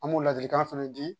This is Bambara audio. An b'o ladilikan fɛnɛ di